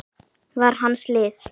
var hans lið.